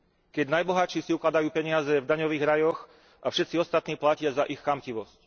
Keď najbohatší si ukladajú peniaze v daňových rajoch a všetci ostatní platia za ich chamtivosť.